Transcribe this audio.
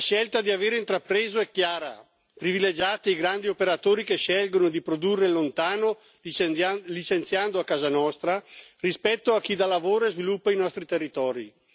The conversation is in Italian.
La scelta che avete intrapreso è chiara privilegiate i grandi operatori che scelgono di produrre lontano, licenziando a casa nostra, rispetto a chi dà lavoro e sviluppo ai nostri territori.